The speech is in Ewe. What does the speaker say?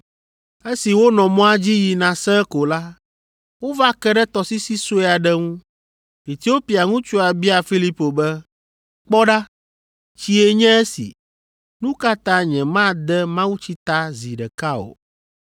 Esi wonɔ mɔa dzi yina sẽe ko la, wova ke ɖe tɔsisi sue aɖe ŋu. Etiopia ŋutsua bia Filipo be, “Kpɔ ɖa! Tsie nye esi; nu ka ta nyemade mawutsi ta zi ɖeka o?”